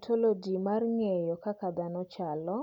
"Ontoloji mar ng’eyo kaka dhano chalo,